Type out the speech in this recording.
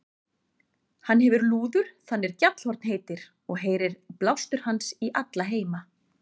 Hann hefir lúður þann er Gjallarhorn heitir, og heyrir blástur hans í alla heima.